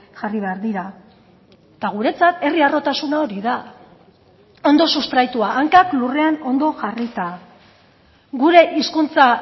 jarri behar dira eta guretzat herri harrotasuna hori da ondo sustraitua hankak lurrean ondo jarrita gure hizkuntza